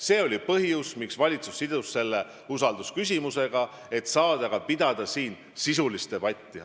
See oli põhjus, miks valitsus sidus selle usaldusküsimusega: et saada pidada siin sisulist debatti.